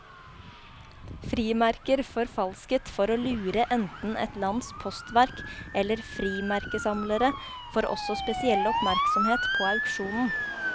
Frimerker forfalsket for å lure enten et lands postverk eller frimerkesamlere, får også spesiell oppmerksomhet på auksjonen.